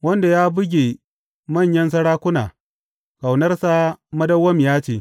Wanda ya buge manyan sarakuna, Ƙaunarsa madawwamiya ce.